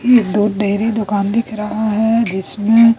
ये दूध डेयरी दुकान दिख रहा हैं जिसमें--